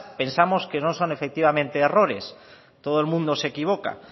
pensamos que no son efectivamente errores todo el mundo se equivoca